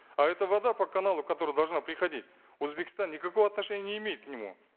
а эта вода по каналу которая должна приходить узбекистан никакого отношения не имеет к нему